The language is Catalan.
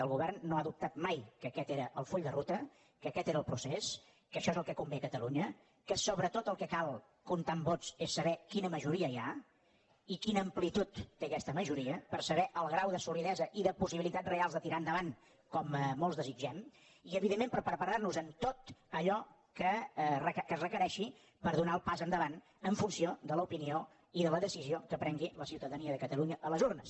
el govern no ha dubtat mai que aquest era el full de ruta que aquest era el procés que això és el que convé a catalunya que sobretot el que cal comptant vots és saber quina majoria hi ha i quina amplitud té aquesta majoria per saber el grau de solidesa i de possibilitats reals de tirar endavant com molts desitgem i evidentment per preparar nos en tot allò que es requereixi per donar el pas endavant en funció de l’opinió i de la decisió que prengui la ciutadania de catalunya a les urnes